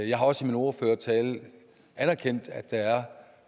jeg har også i min ordførertale anerkendt at der er